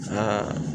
Aa